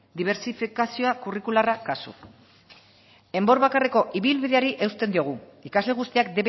dibersifikazioa kurrikularra kasu enbor bakarreko ibilbideari eusten diogu ikasle guztiak